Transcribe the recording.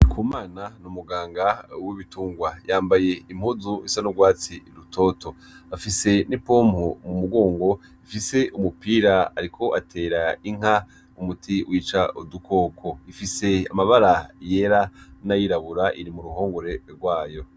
NDIKUMANA ni umuganga w'ibitungwa yambaye impuzu isa n' ugwatsi rutoto afise n' ipompo mu mugongo ifise umupira ariko atera inka umuti wica udukoko, ifise amabara yera n' ayirabura iri mu ruhongore gwayo.